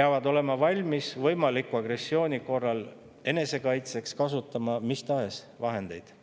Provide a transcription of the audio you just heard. peavad võimaliku agressiooni korral olema valmis enesekaitseks kasutama mis tahes vahendeid.